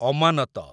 ଅମାନତ